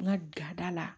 N ka jada la